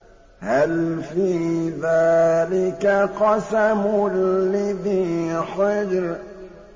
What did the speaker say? هَلْ فِي ذَٰلِكَ قَسَمٌ لِّذِي حِجْرٍ